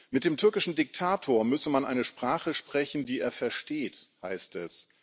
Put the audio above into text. Mit dem türkischen Diktator müsse man eine Sprache sprechen, die er versteht, heißt es.